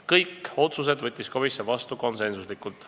Kõik otsused võttis komisjon vastu konsensuslikult.